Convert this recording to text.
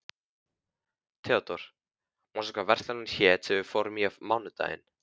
Theodór, manstu hvað verslunin hét sem við fórum í á mánudaginn?